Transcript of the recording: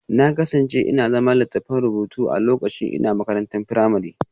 Na kasance ina zana littafan rubutu na lokacin ina makarantar firamare